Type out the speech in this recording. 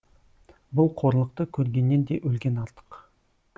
бұл қорлықты көргеннен де өлген артық